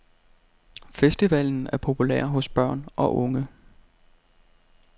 Festivalen er populær hos børn og unge.